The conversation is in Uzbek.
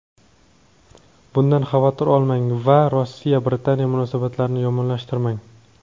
bundan xavotir olmang va Rossiya-Britaniya munosabatlarini yomonlashtirmang.